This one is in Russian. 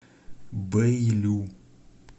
бэйлю